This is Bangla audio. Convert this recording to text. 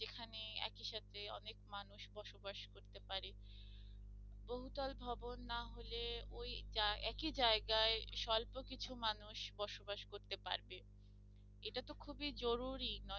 যেখানে একই সাথে অনেক মানুষ বসবাস করতে পারে বহুতল ভবন না হলে ওই যায়~ একই জায়গায় স্বল্প কিছু মানুষ বসবাস করতে পারবে, এটাতো খুবই জরুরি